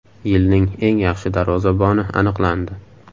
Yilning eng yaxshi darvozaboni aniqlandi.